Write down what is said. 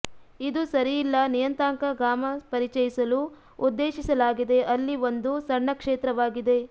ಇದು ಸರಿ ಇಲ್ಲ ನಿಯತಾಂಕ ಗಾಮಾ ಪರಿಚಯಿಸಲು ಉದ್ದೇಶಿಸಲಾಗಿದೆ ಅಲ್ಲಿ ಒಂದು ಸಣ್ಣ ಕ್ಷೇತ್ರವಾಗಿದೆ